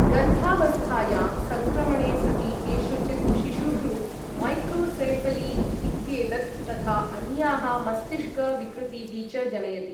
गर्भावस्थायां संक्रमणे सति केषुचित् शिशुषु मैक्रोसेऴली इत्येतत् तथा अन्याः मस्तिष्क विकृतीः च जनयति।